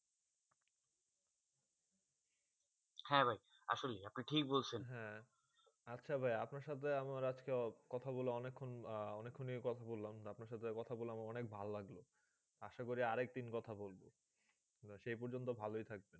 হেঁ ভাই আসলে আপনা ঠিক বলছেন হেঁ আচ্ছা ভাই আপনার সাথে আজকে আমার কথা বলে অনেক ক্ষণ খুনি কথা বলাম আপনার সাথে কথা বলে অনেক ভালো লাগলো আসা করি আরও এক দিন কথা বলবো সেই প্রজন্ত ভালো থাকবে